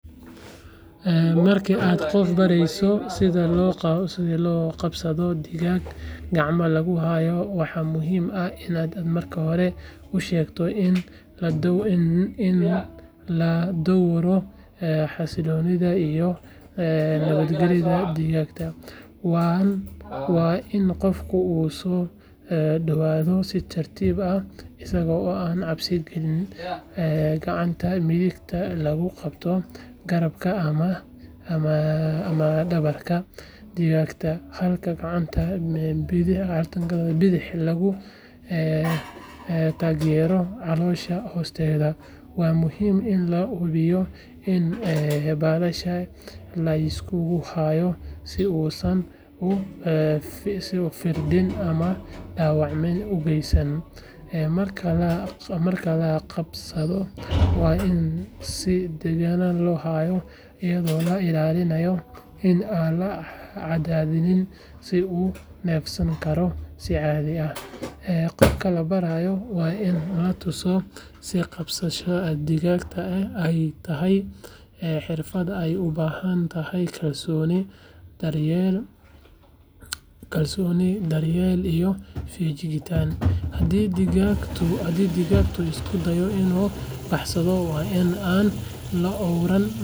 Marka aad qof barayso sida loo qabsado digaag gacmaha lagu hayo, waxa muhiim ah in aad marka hore u sheegto in la dhowro xasiloonida iyo nabadgelyada digaagga. Waa in qofku u soo dhowaadaa si tartiib ah isaga oo aan cabsi gelin, gacanta midigna lagu qabsado garabka ama dhabarka digaagga halka gacanta bidix lagu taageerayo caloosha hoosteeda. Waa muhiim in la hubiyo in baalasha la iskugu hayo si uusan u firdhin ama dhaawac u geysan. Marka la qabsado, waa in si degan loo hayaa, iyadoo la ilaalinayo in aan la cadaadin si uu u neefsan karo si caadi ah. Qofka la barayo waa in la tusaa in qabsashada digaagga ay tahay xirfad ay u baahan tahay kalsooni, daryeel iyo feejignaan. Haddii digaagu isku dayo inuu baxsado, waa in aan la oran.